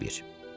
Bu bir.